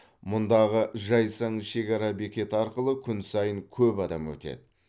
мұндағы жайсаң шекара бекеті арқылы күн сайын көп адам өтеді